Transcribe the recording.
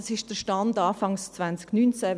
Dies ist der Stand Anfang 0019.